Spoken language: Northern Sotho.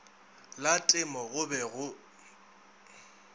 la temo go be go